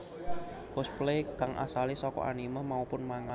Cosplay kang asale saka anime maupun manga